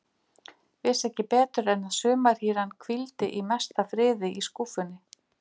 Vissi ekki betur en að sumarhýran hvíldi í mesta friði í skúffunni.